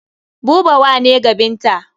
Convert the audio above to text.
Buba wa ne ga Binta.